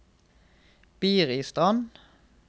Biristrand